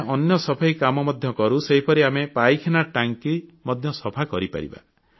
ଆମେ ଅନ୍ୟ ସଫେଇ କାମ ମଧ୍ୟ କରୁ ସେହିପରି ଆମେ ପାଇଖାନା ଟାଙ୍କି ମଧ୍ୟ ସଫା କରିପାରିବା